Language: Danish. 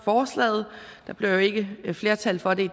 forslaget der bliver ikke flertal for det